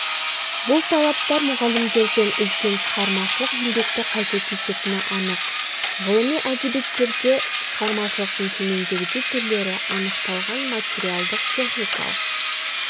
бұл талаптар мұғалімдерден үлкен шығармашылық еңбекті қажет ететіні анық ғылыми әдебиеттерде шығармашылықтың төмендегідей түрлері анықталған материалдық-техникалық